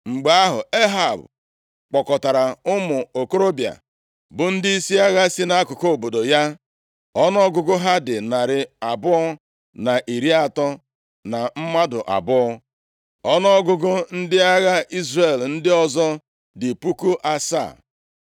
Mgbe ahụ, Ehab kpọkọtara ụmụ okorobịa bụ ndịisi agha si nʼakụkụ obodo ya. Ọnụọgụgụ ha dị narị abụọ na iri atọ na mmadụ abụọ. Ọnụọgụgụ ndị agha Izrel ndị ọzọ dị puku asaa.